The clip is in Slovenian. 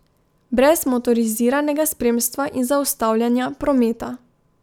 Brez motoriziranega spremstva in zaustavljanja prometa.